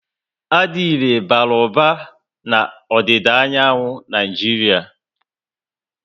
Adire bara uba na odida anyanwu Naijiria